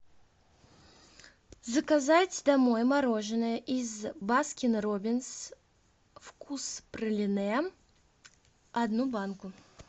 заказать домой мороженое из баскин роббинс вкус пралине одну банку